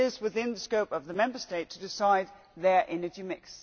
But it is within the scope of the Member State to decide their energy mix.